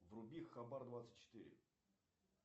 вруби хабар двадцать четыре